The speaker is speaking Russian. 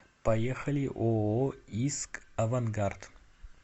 поехали ооо иск авангард